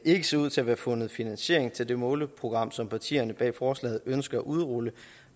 ikke ser ud til at være fundet finansiering til det måleprogram som partierne bag forslaget ønsker at udrulle